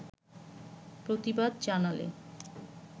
প্রতিবাদ জানালে